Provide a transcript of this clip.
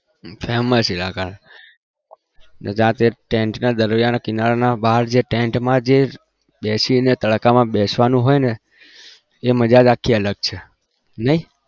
famous અને રાતે tent ના દરિયાના કિનારા બાર જે tent માં બેસીને તડકામાં બેસવાનું હોય ને એ મજા જ ખાલી અલગ છે નહિ.